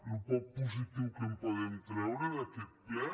el poc positiu que en podem treure d’aquest ple